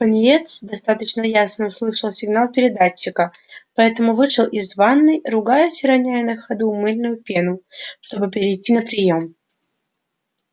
пониетс достаточно ясно услышал сигнал передатчика поэтому вышел из ванной ругаясь и роняя на ходу мыльную пену чтобы перейти на приём